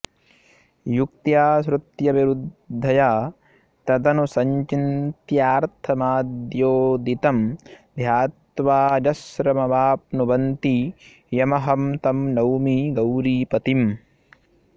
युक्त्या श्रुत्यविरुद्धया तदनुसञ्चिन्त्यार्थमाद्योदितं ध्यात्वाऽजस्रमवाप्नुवन्ति यमहं तं नौमि गौरीपतिम्